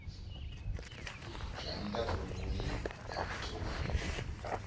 zwa nnḓa ḓoroboni ya pretoria